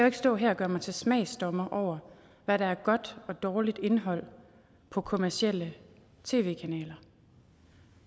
ikke stå her og gøre mig til smagsdommer over hvad der er godt og dårligt indhold på kommercielle tv kanaler